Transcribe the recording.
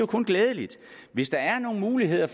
kun glædeligt hvis der er nogle muligheder